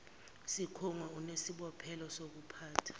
sikhungo unesibophezelo sokuphatha